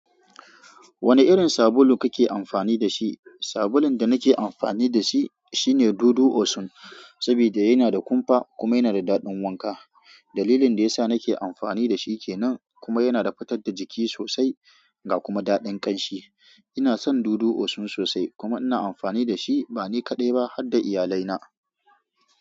Wane irin sabulu kake amfani da shi? Sabulun da nake amfani da shi shine Dudu Osun, sabida yana da kumfa kuma yana da daɗin wanka. Dalilin da yasa nake amfani da shi kenan kuma yana da futar da jiki sosai ga kuma daɗin ƙanshi. Ina son Dudu Osun sosai kuma ina amfani da shi ba ni kaɗai ba hadda iyalaina.